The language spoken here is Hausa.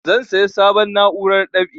Zan saya sabon na'urar dab'i